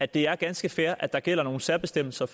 det er ganske fair at der gælder nogle særbestemmelser